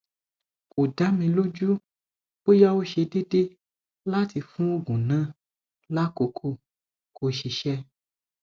ko da mi loju boya o se deede lati fun oogun na lakoko ko sise